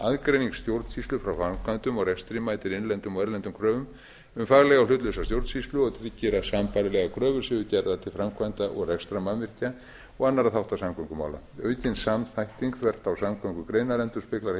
aðgreining stjórnsýslu frá framkvæmdum og rekstri mætir innlendum og erlendum kröfum um faglega og hlutlausa stjórnsýslu og tryggir að sambærilegar kröfur séu gerðar til framkvæmda og rekstrarmannvirkja og annarra þátta samgöngumála aukin samþætting þvert á samgöngugreinar endurspeglar